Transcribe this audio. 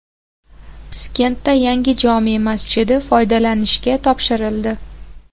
Piskentda yangi jome masjidi foydalanishga topshirildi .